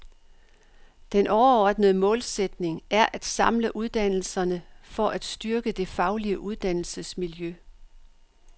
Den overordnede målsætning er at samle uddannelserne for at styrke det faglige uddannelsesmiljø.